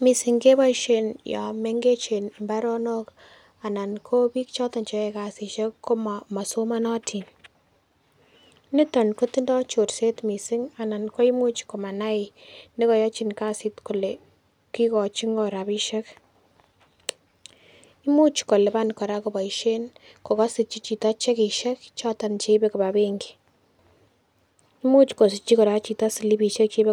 Mising'keboisien yon mengechen mbaronok anan kobiik choton cheyoe kasisiek komo komosomonotin. Niton kotindo chorset missing' anan koimuch komanai nekoyochin kasit kole kikochin ng'o rabisiek. Imuch kolipan kora koboisien kokose chichiton chekisiek choton cheibe koba benki. Imuch kosirchi kora chito silipisiek cheibe.